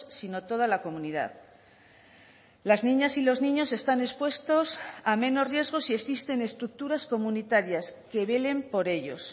sino toda la comunidad las niñas y los niños están expuestos a menos riesgos si existen estructuras comunitarias que velen por ellos